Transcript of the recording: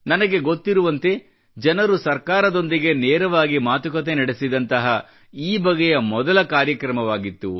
ನನಗೆ ಗೊತ್ತಿರುವಂತೆ ಜನರು ಸರಕಾರದೊಂದಿಗೆ ನೇರವಾಗಿ ಮಾತುಕತೆ ನಡೆಸಿದಂತಹ ಈ ಈ ಬಗೆಯ ಮೊದಲ ಕಾರ್ಯಕ್ರಮವಾಗಿತ್ತು